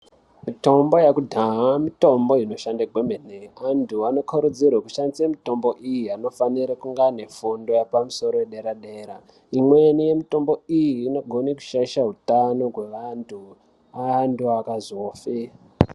Mitomba yekudhaya mitombo inoshande kwemene anthu anokarudzirwe kushandise mitombo iyi anofanire kunge ane fundo yepamusoro yedera dera imweni yemitombo iyi inogona kushaishe hutano hwevanthu anthu akazofe.